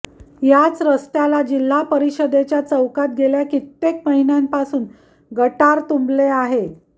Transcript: याच रस्त्याला जिल्हा परिषदेच्या चौकात गेल्या कित्येक महिन्यापासून गटर तुंबले आहे